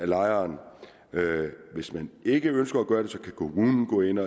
lejeren ikke ønsker at gøre det kan kommunen gå ind